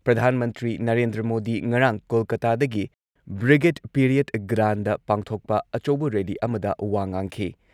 ꯄ꯭ꯔꯙꯥꯥꯟ ꯃꯟꯇ꯭ꯔꯤ ꯅꯔꯦꯟꯗ꯭ꯔ ꯃꯣꯗꯤ ꯉꯔꯥꯡ ꯀꯣꯜꯀꯥꯇꯥꯗꯒꯤ ꯕ꯭ꯔꯤꯒꯦꯗ ꯄꯦꯔꯦꯗ ꯒ꯭ꯔꯥꯟꯗꯗ ꯄꯥꯡꯊꯣꯛꯄ ꯑꯆꯧꯕ ꯔꯦꯜꯂꯤ ꯑꯃꯗ ꯋꯥ ꯉꯥꯡꯈꯤ ꯫